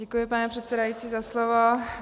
Děkuji, pane předsedající, za slovo.